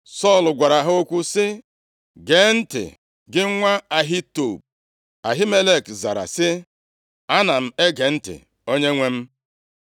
Sọl gwara ha okwu sị, “Gee ntị, gị nwa Ahitub.” Ahimelek zara sị, “Ana m ege ntị, onyenwe m.”